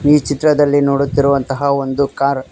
ಈ ಚಿತ್ರದಲ್ಲಿ ನೋಡುತ್ತಿರುವಂತಹ ಒಂದು ಕಾರ್ .